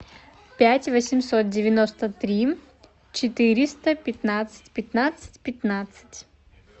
пять восемьсот девяносто три четыреста пятнадцать пятнадцать пятнадцать